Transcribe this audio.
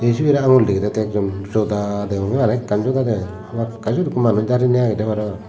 ey sibe re angul dege dette ekjon joda deonge araw ekkan joda degede hamakkai siyot ekko manuj darenei agede parabang.